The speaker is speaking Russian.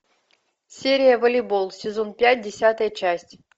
серия волейбол сезон пять десятая часть